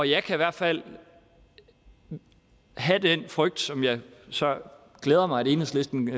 jeg kan i hvert fald have den frygt som det så glæder mig at enhedslisten